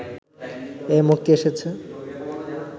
এই মুক্তি এসেছে